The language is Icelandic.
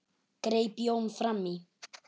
greip Jón fram í.